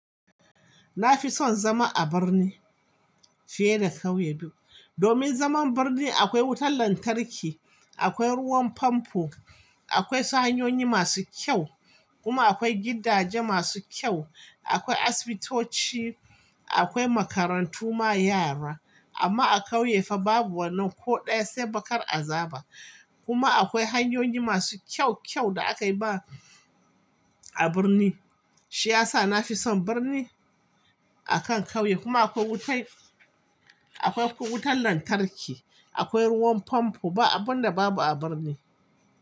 Na fi son zama a birni fiye da ƙauye, domin zaman birni akwai wutan lantarki, akwai ruwan famfo, akwai hanyoyi masu kyau kuma akwai gidaje masu kyau, akwai asibitoci, akwai makarantu ma yara amma a ƙauye fa babu wannan ko ɗaya sai bakar azaba kuma akwai hanyoyi masu kyau-kyau da aka yi ba a birni, shi ya sa na fi son birni akan ƙauye, kuma akwai wuta-akwai kuma wutar lantarki, akwai ruwan famfo, ba abun da babu a birni.